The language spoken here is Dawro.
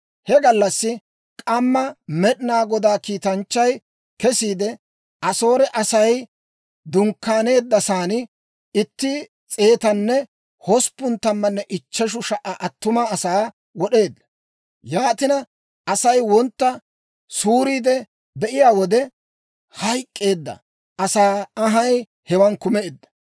He gallassi k'amma Med'inaa Godaa kiitanchchay kesiide, Asoore Asay dunkkaaneeddasan, itti s'eetanne hosppun tammanne ichcheshu sha"a attuma asaa wod'eedda. Yaatina, Asay wontta suuriide be'iyaa wode, hayk'k'eedda asaa anhay hewan kumeedda.